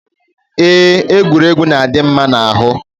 Eé, egwuregwu na-adị mma n'ahụ.